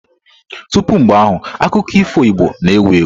Tupu mgbe ahụ, akụkọ ifo Igbo na-ewu ewu.